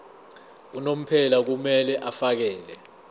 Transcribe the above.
unomphela kumele afakele